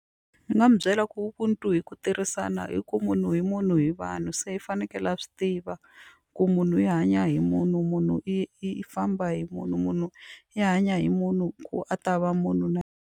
Ni nga mu byela ku ubuntu i ku tirhisana i ku munhu i munhu hi vanhu se i fanekele a swi tiva ku munhu hi hanya hi munhu munhu i i famba hi munhu munhu hi hanya hi munhu ku a ta va munhu na.